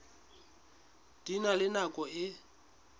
di na le nako e